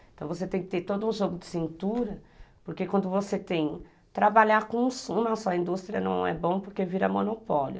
Então você tem que ter todo um jogo de cintura, porque quando você tem que trabalhar com o sumo, a sua indústria não é bom porque vira monopólio.